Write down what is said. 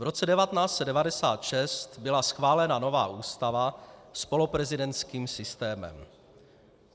V roce 1996 byla schválena nová ústava s poloprezidentským systémem.